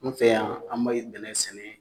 N fɛ yan an be ye bɛnɛ sɛnɛ